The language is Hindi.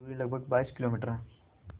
दूरी लगभग बाईस किलोमीटर है